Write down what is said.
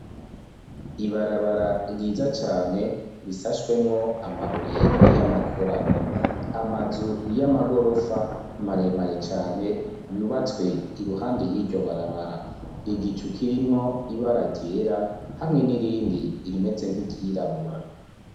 Ibarabara ryiza cane risashwemwo amabuye y'amakorano, amazu y'amagorofa maremare cane yubatswe iruhande y'iryo barabara, igicu kirimwo ibara ryera hamwe n'irindi irimeze nk'iryirabura.